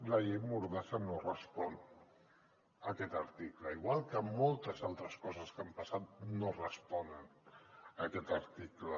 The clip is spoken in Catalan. la llei mordassa no respon a aquest article igual que moltes altres coses que han passat no responen a aquest article